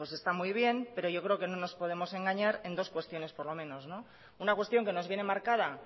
pues está muy bien pero yo creo que no nos podemos engañar en dos cuestiones por lo menos una cuestión que nos viene marcada